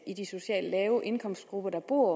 i de socialt lave indkomstgrupper der bor